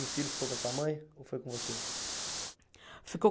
E o filho ficou com a sua mãe ou foi com você? Ficou